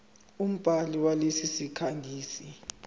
umbhali walesi sikhangisi